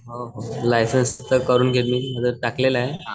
हो हो लायसन्स करून घेईल मी टाकलेलं आहे.